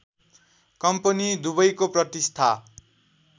company दुबैको प्रतिष्ठा